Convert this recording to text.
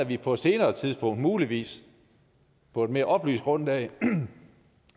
vi på et senere tidspunkt muligvis på et mere oplyst grundlag